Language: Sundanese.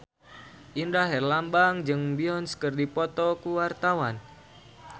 Indra Herlambang jeung Beyonce keur dipoto ku wartawan